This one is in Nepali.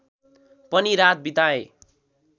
पनि रात बिताएँ